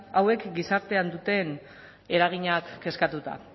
hauek gizartean duten eraginak kezkatuta